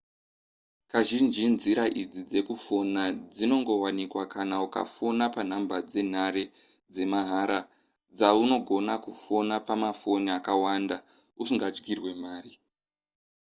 kazhinji nzira idzi dzekufona dzinongowanikwa kana ukafona panhamba dzenhare dzemahara dzaunogona kufona pamafoni akawanda usingadyirwe mari